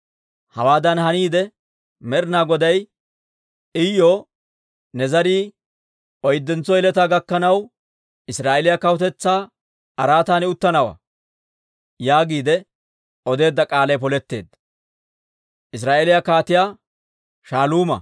Hawaadan haniide, Med'ina Goday Iyuw, «Ne zarii oyddentso yeletaa gakkanaw, Israa'eeliyaa kawutetsaa araatan uttanawaa» yaagiide odeedda k'aalay poletteedda.